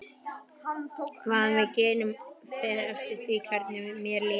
Hvað við gerum fer eftir því hvernig mér líður.